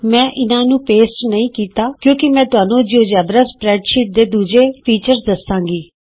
ਮੈਂ ਇਹਨਾਂ ਨੂੰ ਪੇਸਟ ਨਹੀਂ ਕੀਤਾ ਕਿਉਂਕਿ ਮੈਂ ਤੁਹਾਨੂੰ ਜਿਉਜੇਬਰਾ ਸਪਰੈਡਸ਼ੀਟਜ਼ ਦੇ ਦੂਜੇ ਹੋਰ ਗੁਣ ਦਸਾਂਗੀ